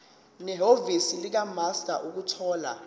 nehhovisi likamaster ukuthola